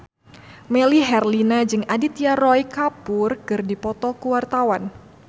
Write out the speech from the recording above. Melly Herlina jeung Aditya Roy Kapoor keur dipoto ku wartawan